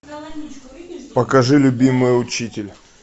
покажи любимый учитель